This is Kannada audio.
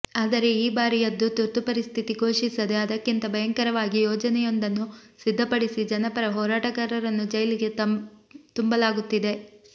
ಆದರೆ ಈ ಬಾರಿಯದ್ದು ತುರ್ತುಪರಿಸ್ಥಿತಿ ಘೋಷಿಸದೇ ಅದಕ್ಕಿಂತ ಭಯಂಕರವಾಗಿ ಯೋಜನೆಯೊಂದನ್ನು ಸಿದ್ಧಪಡಿಸಿ ಜನಪರ ಹೋರಾಟಗಾರರನ್ನು ಜೈಲಿಗೆ ತುಂಬಲಾಗುತ್ತಿದೆ